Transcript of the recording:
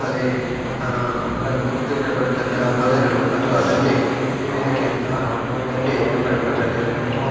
ಬಲೇ ಅಹ್ ಪಕ್ಕದಲ್ಲಿ ಕಂಡ್ ಬರ್ತಕ್ಕಂತ ಪೊದೆಗಳು ಅಥವಾ ದಂಡೆ ದಂಡೆ ನಮ್ಗ್ ಕಂಡ ಬರ್ತಾ ಇದೆ.